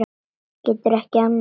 Getur ekki annað.